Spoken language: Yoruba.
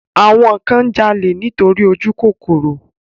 Àwọn kan ń jalè nítorí ojúkòkòrò